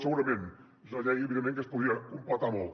segurament és una llei evidentment que es podria completar molt